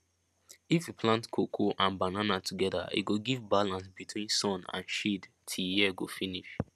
if you plant cocoa and banana together e go give balance between sun and shade till year go finish